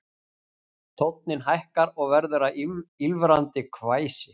Tónninn hækkar og verður að ýlfrandi hvæsi